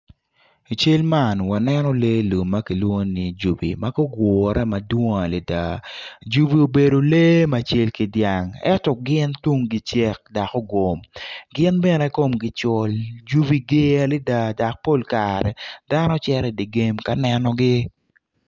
I cal man waneno lee lum makilwongo ni ijuki magugure madwong adada jugi obedo lee macal ki dyang ento gin tunggi cel dok ogom gin bene komgi col jugi ger adada dok pol kare dano cito idigim kaneno gi.